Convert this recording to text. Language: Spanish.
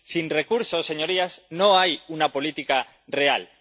Sin recursos, señorías, no hay una política real.